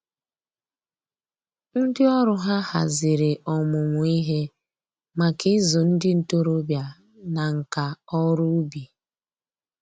Ndị ọrụ ha haziri ọmụmụ ihe maka ịzụ ndị ntoroọbịa na nka ọrụ ubi